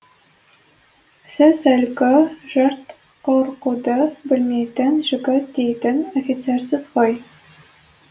сіз әлгі жұрт қорқуды білмейтін жігіт дейтін офицерсіз ғой